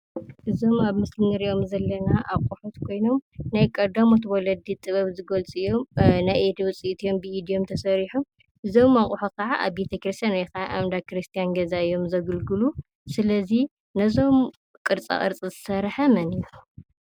እዞም ኣብ ምስሊ ንሪኦም ዘለና ኣቑሑት ኮይኖም ናይ ቀዳሞት ወለዲ ጥበብ ዝገልፁ እዮም፡፡ ናይ ኢድ ውፅኢት እዮም፡፡ ብኢድ እዮም ተሰሪሖም፡፡ እዞም ኣቑሑ ከዓ ኣብ ቤተ ክርስትያን ወይ ከዓ ኣብ እንዳ ክርስትያን እዮም ዘግልግሉ፡፡ ስለዚ ነዞም ቅርፃቅርፂ ዝሰርሐ መን እዩ?